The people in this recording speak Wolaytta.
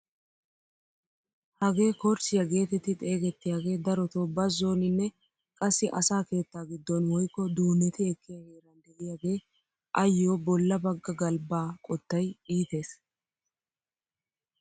Hagee korchchiyaa getetti xeegettiyaagee darotoo bazooninne qassi asaa keetta giddon woykko duunneti ekkiyaa heeran de'iyaage ayoo bolla bagga galbbaa qottay iites!